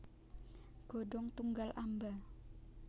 Godhong tunggal amba